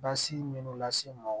Basi minnu lase n ma